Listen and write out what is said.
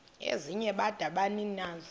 ezinye bada nabaninizo